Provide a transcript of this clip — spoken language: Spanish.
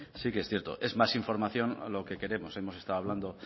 sí que es cierto es más información lo que queremos hemos estado hablando